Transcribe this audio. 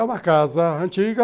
É uma casa antiga.